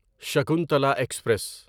Shakuntala express